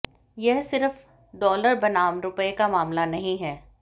यह सिर्फ डॉलर बनाम रुपये का मामला नहीं है